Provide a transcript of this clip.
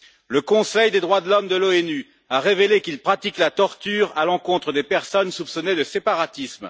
Le Conseil des droits de l'homme de l'ONU a révélé qu'il pratique la torture à l'encontre des personnes soupçonnées de séparatisme.